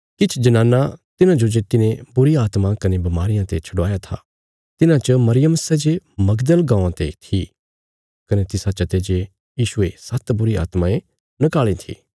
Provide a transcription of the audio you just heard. किछ जनानां तिन्हाजो जे तिने बुरीआत्मां कने बमारियां ते छडवाया था तिन्हां च मरियम सै जे मगदल गाँवां ते थी कने तिसा चते जे यीशुये सात्त बुरी आत्मायें नकाल़ी थीं